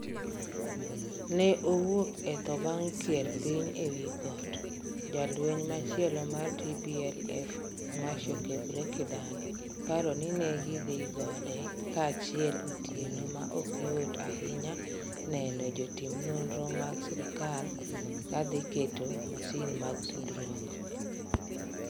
'Ne owuok e tho bang' kier piny ewi got' Jalweny machielo mar TPLF, Measho Gebrekidan, paro ni ne gidhi gode kanyachiel otieno ma ok yot ahinya neno jotim nonro mag sirkal dhi keto masin mag tudruok.